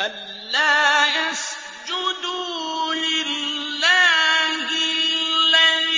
أَلَّا يَسْجُدُوا لِلَّهِ الَّذِي